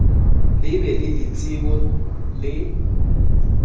le be le ditsebo le